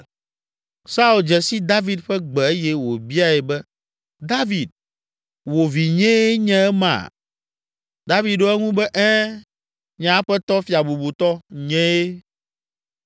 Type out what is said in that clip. Saul dze si David ƒe gbe eye wòbiae be, “David, wò vinyee nye ema?” David ɖo eŋu be, “Ɛ̃, nye aƒetɔ fia bubutɔ, nyee.”